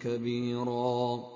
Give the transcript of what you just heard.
كَبِيرًا